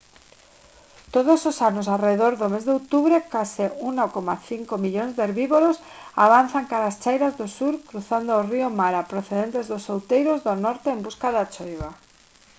todos os anos arredor do mes de outubro case 1,5 millóns de herbívoros avanzan cara ás chairas do sur cruzando o río mara procedentes dos outeiros do norte en busca da choiva